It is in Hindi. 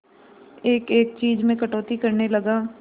एक एक चीज में कटौती करने लगा